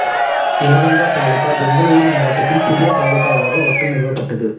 யெலகங்கா தாலுகா பெங்களூரு மாவட்டத்தின் புதிய தாலுகாவாக வட்டம் நிறுவப்பட்டது